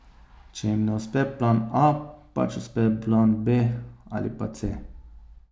Če jim ne uspe plan a, pač uspe plan b ali pa c ...